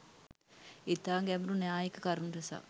ඉතා ගැඹුරු න්‍යායික කරුණු රැසක්